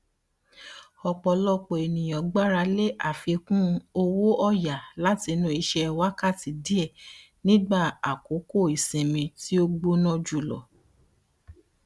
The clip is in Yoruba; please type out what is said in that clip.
ọpọlọpọ ènìyàn gbaralé àfikún owóọyà látinú iṣẹ wákàtí díè nígbà àkókò isinmi tí ó gbóná jùlọ